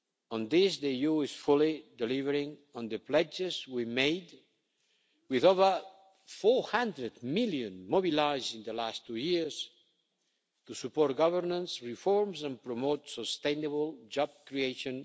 On this the EU is fully delivering on the pledges we made, with over EUR 400 million mobilised in the last two years to support governance reforms and promote sustainable job creation.